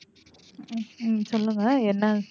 உம் உம் சொல்லுங்க என்ன?